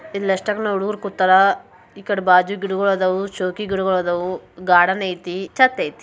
ಇಲ್ಲ್ ಎಷ್ಟೋಕೊಂಡ ಹುಡುಗೂರ್ ಕೂತಾರಾ. ಈಕಡೆ ಬಾಜು ಗಿಡಗೋಳ್ ಅದಾವು. ಶೋಕಿ ಗಿಡಗೋಳ್ ಅದಾವು. ಗಾರ್ಡನ್ ಐತಿ. ಛತ್ ಐತಿ.